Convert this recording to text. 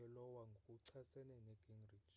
eiowa ngokuchasene negingrich